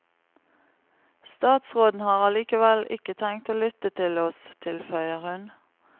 Statsråden har allikevel ikke tenkt å lytte til oss, tilføyer hun.